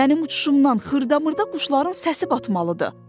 Mənim uçuşumdan xırda-mırda quşların səsi batmalıdır.